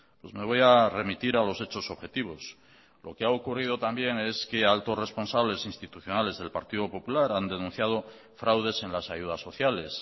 pues me voy a remitir a los hechos objetivos lo que ha ocurrido también es que altos responsables institucionales del partido popular han denunciado fraudes en las ayudas sociales